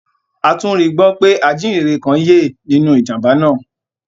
A tún rígbọ pé ajìhínrẹ̀ kan yẹ́ nínú ìjàmbá náà